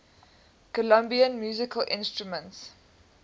colombian musical instruments